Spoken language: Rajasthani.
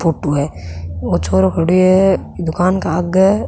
फोटो है ओ छोरो खड़यो है दुकान के आगे।